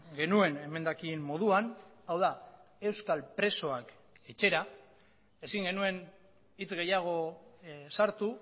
genuen emendakin moduan hau da euskal presoak etxera ezin genuen hitz gehiago sartu